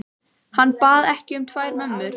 Hann bað ekki um tvær mömmur.